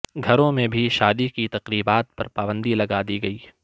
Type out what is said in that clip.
گھروں میں بھی شادی کی تقریبات پر پابندی لگادی گئی